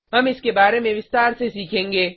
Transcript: हम इसके बारे में विस्तार से सीखेंगे